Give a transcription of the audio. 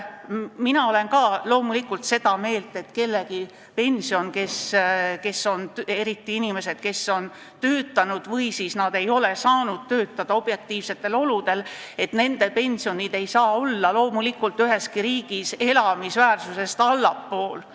Mina olen ka loomulikult seda meelt, et kellegi pension, eriti inimestel, kes on töötanud, või nendel, kes ei ole saanud töötada objektiivsetel asjaoludel, ei tohi üheski riigis olla elamisväärsest tasemest allpool.